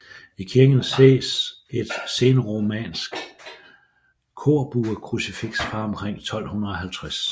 I kirken ses et senromansk korbuekrucifiks fra omkring 1250